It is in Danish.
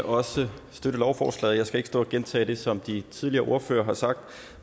også støtte lovforslaget jeg skal ikke stå og gentage det som de tidligere ordførere har sagt